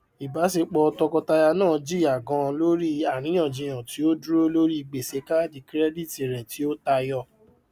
ìbáṣepọ tọkọtaya náà jìyà ganan nítorí àríyànjiyàn tí ó dúró lórí gbèsè káàdì kirẹdítì rẹ tí ó tayọ